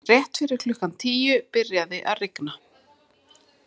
Rétt fyrir klukkan tíu byrjaði að rigna.